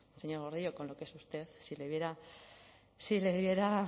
señor gordillo con lo que es usted si le viera